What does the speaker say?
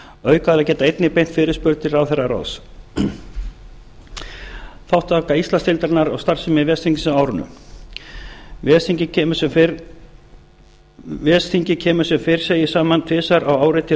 mótun aukaaðilar geta einnig beint fyrirspurn til ráðherraráðs þátttaka íslandsdeildarinnar og starfsemi ves þingsins á árinu ves þingið kemur sem fyrr segir saman tvisvar á ári til